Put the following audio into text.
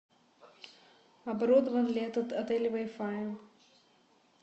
оборудован ли этот отель вай фаем